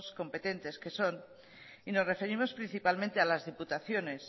competentes que son y nos referimos principalmente a las diputaciones